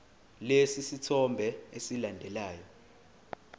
lesi sithombe esilandelayo